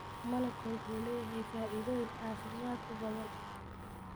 Malabka wuxuu leeyahay faa'iidooyin caafimaad oo badan.